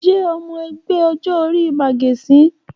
Olú jẹ́ ọmọ ẹgbẹ́ ọjọ́-orí màgẹ̀sín.